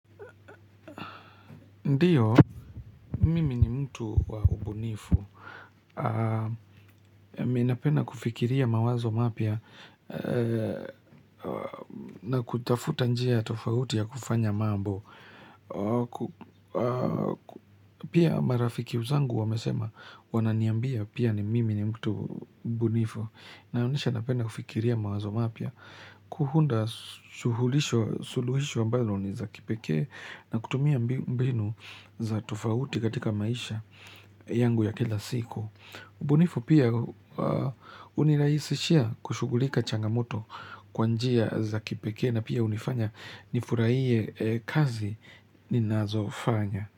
Ndiyo, mimi ni mtu wa ubunifu. Mi napenda kufikiria mawazo mapya na kutafuta njia ya tofauti ya kufanya mambo. Pia marafiki zangu wamesema wananiambia pia ni mimi ni mtu bunifu. Naonyesha napenda kufikiria mawazo mapia. Kuhunda suhulisho, suluhisho ambayo ni za kipekee na kutumia mbinu za tofauti katika maisha yangu ya kila siku ubunifu pia uniraisishia kushugulika changamoto kwa njia za kipekee na pia hunifanya nifuraiye kazi ninazofanya.